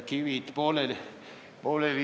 Kivid! ...